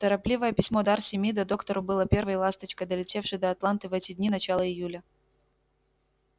торопливое письмо дарси мида доктору было первой ласточкой долетевшей до атланты в эти дни начала июля